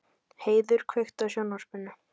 Heiður, kveiktu á sjónvarpinu.